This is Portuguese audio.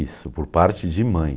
Isso, por parte de mãe.